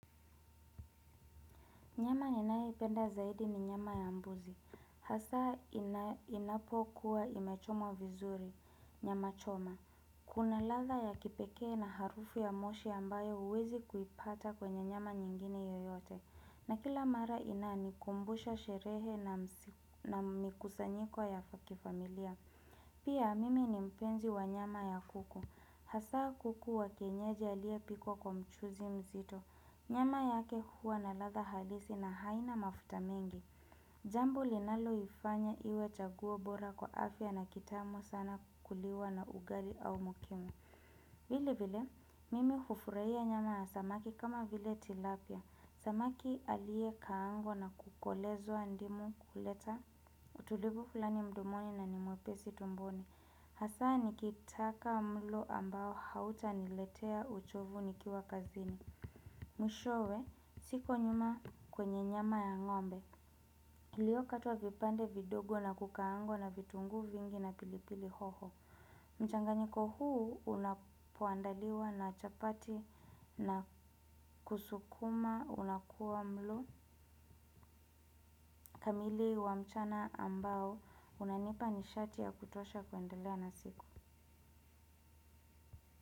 Nyama ninayoipenda zaidi ni nyama ya mbuzi. Hasa inapokuwa imechomwa vizuri. Nyama choma. Kuna ladha ya kipekee na harufu ya moshi ambayo huwezi kuipata kwenye nyama nyingine yoyote. Na kila mara inanikumbusha sherehe na mikusanyiko ya kifamilia. Pia mimi ni mpenzi wa nyama ya kuku. Hasa kuku wa kienyeji aliyepikwa kwa mchuzi mzito. Nyama yake huwa na ladha halisi na haina mafuta mingi. Jambo linaloifanya iwe chaguo bora kwa afya na kitamu sana kuliwa na ugali au mukimo. Vile vile, mimi hufurahia nyama ya samaki kama vile tilapia. Samaki aliyekaangwa na kukolezwa ndimu huleta utulivu fulani mdomoni na ni mwepesi tumboni. Hasa nikitaka mlo ambao hauta niletea uchovu nikiwa kazini. Mwishowe, siko nyuma kwenye nyama ya ngombe. Iliokatwa vipande vidogo na kukaangwa na vitunguu vingi na pilipili hoho mchanganyiko huu unapoandaliwa na chapati na sukuma unakuwa mlo kamili wa mchana ambao unanipa nishati ya kutosha kuendelea na siku.